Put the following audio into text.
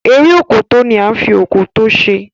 Eré Òkòtó ní a fí Òkòtó ṣe